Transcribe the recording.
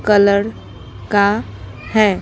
Colour का है।